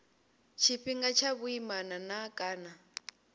tshifhinga tsha vhuimana na kana